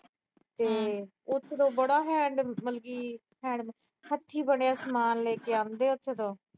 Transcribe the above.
ਤੇ ਉੱਥੋਂ ਦੀ ਬੜਾ hand ਮਤਲਬ ਕਿ ਹੱਥੀਂ ਬਣਿਆ ਸਮਾਨ ਲੈ ਕੇ ਆਉਂਦੇ ਆ ਉੱਥੇ ਤੋਂ।